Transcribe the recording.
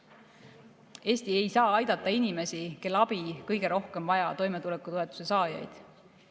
Eesti ei saa aidata inimesi, kel abi kõige rohkem vaja: toimetulekutoetuse saajaid.